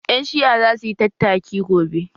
Ƴan Shi'a za su yi tattaki gobe